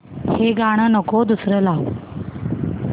हे गाणं नको दुसरं लाव